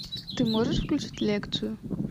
ты можешь включить лекцию